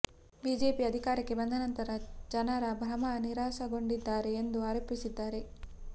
BJP ಅಧಿಕಾರಕ್ಕೆ ಬಂದ ನಂತರ ಜನರ ಭ್ರಮ ನಿರಸನಗೊಂಡಿದ್ದಾರೆ ಎಂದು ಆರೋಪಿಸಿದ್ದಾರೆ